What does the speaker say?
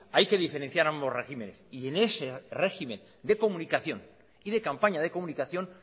hay que diferenciar ambos regímenes y en ese régimen de comunicación y de campaña de comunicación